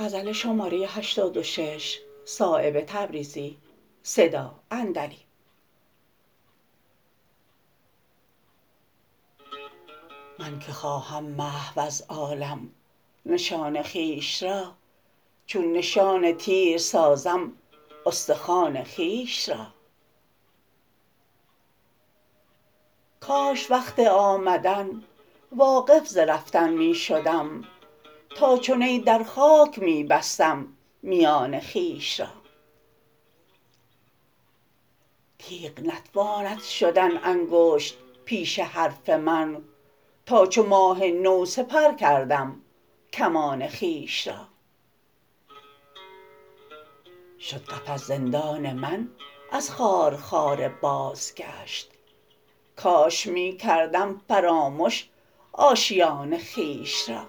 من که خواهم محو از عالم نشان خویش را چون نشان تیر سازم استخوان خویش را کاش وقت آمدن واقف ز رفتن می شدم تا چو نی در خاک می بستم میان خویش را تیغ نتواند شدن انگشت پیش حرف من تا چو ماه نو سپر کردم کمان خویش را شد قفس زندان من از خارخار بازگشت کاش می کردم فرامش آشیان خویش را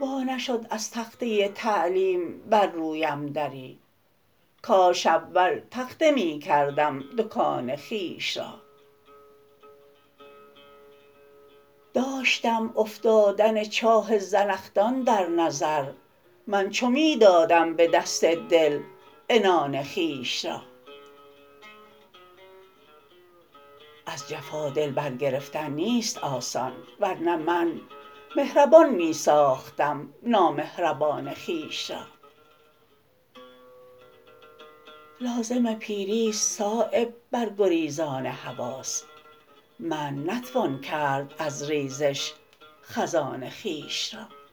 وا نشد از تخته تعلیم بر رویم دری کاش اول تخته می کردم دکان خویش را داشتم افتادن چاه زنخدان در نظر من چو می دادم به دست دل عنان خویش را از جفا دل برگرفتن نیست آسان ور نه من مهربان می ساختم نامهربان خویش را لازم پیری است صایب برگریزان حواس منع نتوان کرد از ریزش خزان خویش را